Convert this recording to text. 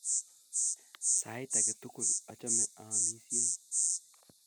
Sait ake tukul achame aamisyei